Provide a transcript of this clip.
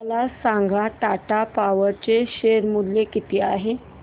मला सांगा टाटा पॉवर चे शेअर मूल्य किती आहे